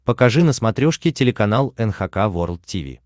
покажи на смотрешке телеканал эн эйч кей волд ти ви